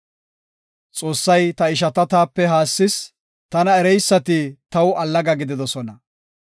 Xoossay ta ishata taape haassis; tana ereysati taw allaga gididosona.